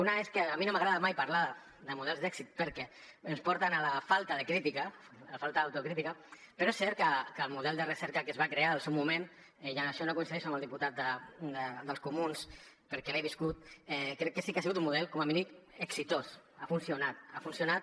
una és que a mi no m’agrada mai parlar de models d’èxit perquè ens porta a la falta de crítica la falta d’autocrítica però és cert que el model de recerca que es va crear al seu moment i en això no coincideixo amb el diputat dels comuns perquè l’he viscut crec que sí que ha sigut un model com a mínim d’èxit ha funcionat ha funcionat